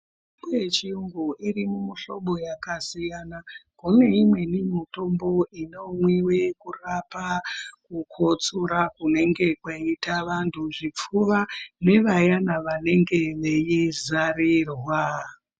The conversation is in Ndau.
Mitombo yechiyungu iri mumuhlobo yakasiyana, kune imweni mutombo inomwiwe kurapa kukotsora kunenge kweiita vantu zvipfuwa nevayana vanenge veizarirwa..